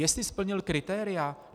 Jestli splnil kritéria?